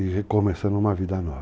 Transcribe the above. E recomeçando uma vida nova.